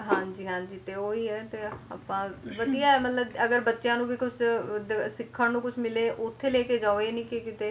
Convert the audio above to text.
ਹਾਂਜੀ ਹਾਂਜੀ ਤੇ ਉਹੀ ਆ ਐ ਤੇ ਆਪਾਂ ਵਧੀਆ ਐ ਮਤਲਬ ਅਗਰ ਬੱਚਿਆਂ ਨੂੰ ਵੀ ਕੁਛ ਅਹ ਉਧਰ ਸਿੱਖਣ ਨੂੰ ਕੁਛ ਮਿਲੇ ਉੱਥੇ ਲੈਕੇ ਜਾਓ ਇਹ ਨੀ ਕੇ ਕਿਤੇ